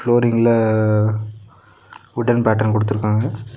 ஃப்ளோரிங்ல wooden pattern குடுத்துருக்காங்க.